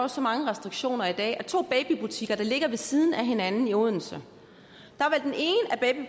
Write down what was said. så mange restriktioner i dag at af to babybutikker der ligger ved siden af hinanden i odense